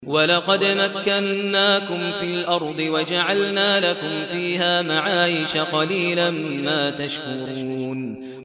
وَلَقَدْ مَكَّنَّاكُمْ فِي الْأَرْضِ وَجَعَلْنَا لَكُمْ فِيهَا مَعَايِشَ ۗ قَلِيلًا مَّا تَشْكُرُونَ